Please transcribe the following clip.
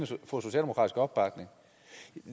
socialdemokratisk opbakning